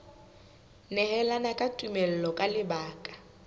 nehelana ka tumello ka lebaka